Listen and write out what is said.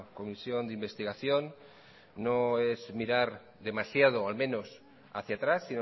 comisión de investigación no es mirar demasiado al menos hacia atrás